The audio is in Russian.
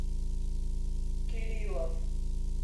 кириллов